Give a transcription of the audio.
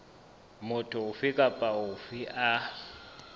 motho ofe kapa ofe a